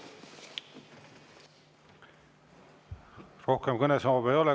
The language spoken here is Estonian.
Rohkem kõnesoove ei ole.